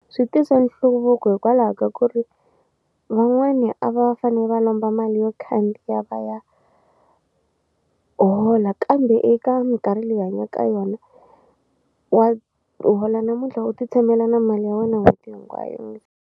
Swi tisa nhluvuko hikwalaho ka ku ri van'wani a va fane va lomba mali yo khandziya va ya hola kambe eka mikarhi leyi hanya ka yona wa hola namuntlha u ti tshamela na mali ya wena n'hweti hinkwayo .